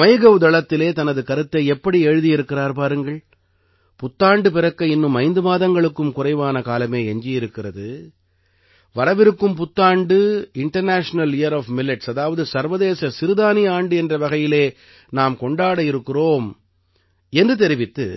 MyGov தளத்திலே தனது கருத்தை எப்படி எழுதியிருக்கிறார் பாருங்கள் புத்தாண்டு பிறக்க இன்னும் 5 மாதங்களுக்கும் குறைவான காலமே எஞ்சி இருக்கிறது வரவிருக்கும் புத்தாண்டு இன்டர்நேஷனல் யியர் ஒஃப் மில்லெட்ஸ் அதாவது சர்வதேச சிறுதானிய ஆண்டு என்ற வகையிலே நாம் கொண்டாட இருக்கிறோம் என்று தெரிவித்து